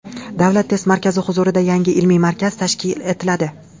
Davlat test markazi huzurida yangi ilmiy markaz tashkil etiladi.